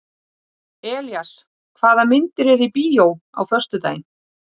Elías, hvaða myndir eru í bíó á föstudaginn?